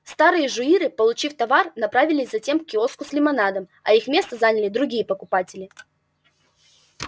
старые жуиры получив товар направились затем к киоску с лимонадом а их место заняли другие покупатели